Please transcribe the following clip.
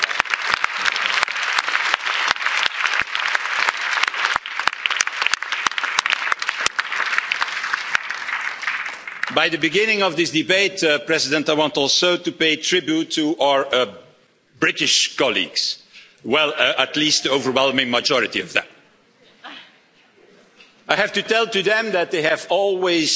At the beginning of this debate, Mr President, I want also to pay tribute to our British colleagues well, at least the overwhelming majority of them. I have to say to them that they have always